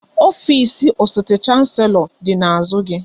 Ofisi osote Shanselo dị n'azụ gị